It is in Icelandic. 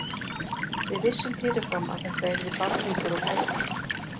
Við vissum fyrirfram að þetta yrði barningur og læti.